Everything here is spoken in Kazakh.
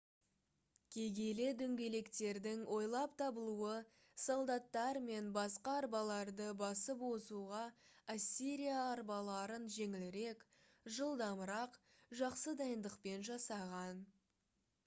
кегейлі дөңгелектердің ойлап табылуы солдаттар мен басқа арбаларды басып озуға ассирия арбаларын жеңілірек жылдамырақ жақсы дайындықпен жасаған